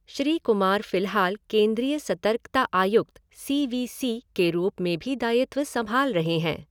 श्री कुमार फिलहाल केंद्रीय सतर्कता आयुक्त, सी वी सी, के रूप में भी दायित्व संभाल रहे हैं।